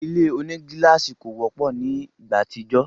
Ile onigílàsì kò wọ́pọ̀ ni ìgbà àtijọ́